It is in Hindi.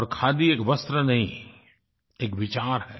और खादी एक वस्त्र नहीं एक विचार है